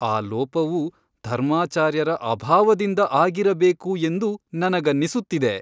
ಆ ಲೋಪವು ಧರ್ಮಾಚಾರ್ಯರ ಅಭಾವದಿಂದ ಆಗಿರಬೇಕು ಎಂದು ನನಗನ್ನಿಸುತ್ತಿದೆ.